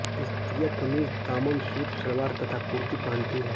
स्त्रियाँ कमीज़ दामन सूट सलवार तथा कुर्ती पहनती हैं